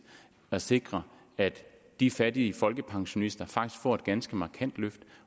at sikre at de fattige folkepensionister faktisk får et ganske markant løft